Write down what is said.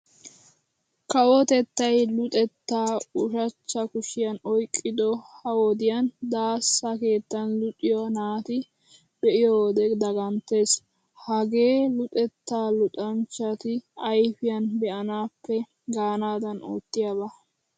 Kawotettay Luxettaa ushachcha kushiyan oyqqido ha wodiyan daassa keettan luxiya naata be'iyo wode daganttees. Hagee luxettaa luxanchchati ayfiyan be'anaappe gaanaadan oottiyaba.